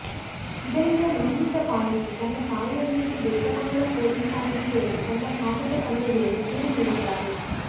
ಇದರಿಂದ ನೊಂದಿದ್ದ ಬಾಲಕಿ ತನ್ನ ತಾಯಿಯೊಂದಿಗೆ ಬೇತಮಂಗಲ ಪೊಲೀಸ್ ಠಾಣೆಗೆ ತೆರಳಿ ತನ್ನ ಕಾಮುಕ ತಂದೆ ವಿರುದ್ಧ ದೂರು ನೀಡಿದ್ದಾರೆ